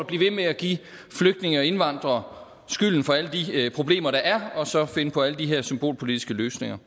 blive ved med at give flygtninge og indvandrere skylden for alle de problemer der er og så finde på alle de her symbolpolitiske løsninger